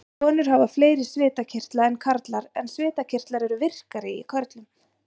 Konur hafa fleiri svitakirtla en karlar en svitakirtlar eru virkari í körlum.